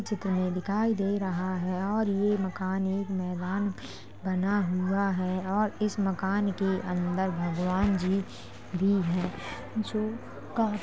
जितने दिखाई दे रहा है और ये मकान एक मैदान बना हुआ है और इस मकान के अंदर भगवान् जी भी हैं जो--